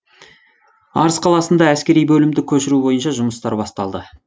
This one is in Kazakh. арыс қаласында әскери бөлімді көшіру бойынша жұмыстар басталды